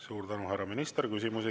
Suur tänu, härra minister!